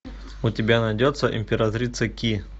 у тебя найдется императрица ки